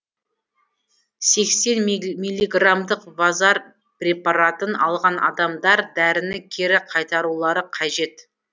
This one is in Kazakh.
сексен миллиграммдық вазар препаратын алған адамдар дәріні кері қайтарулары қажет